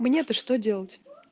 мне-то что делать